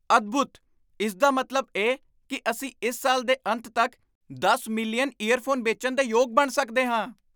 ਅਦਭੂਤ! ਇਸ ਦਾ ਮਤਲਬ ਇਹ ਕੀ ਅਸੀਂ ਇਸ ਸਾਲ ਦੇ ਅੰਤ ਤੱਕ ਦਸ ਮਿਲੀਅਨ ਈਅਰਫੋਨ ਵੇਚਣ ਦੇ ਯੋਗ ਬਣ ਸਕਦੇ ਹਾਂ!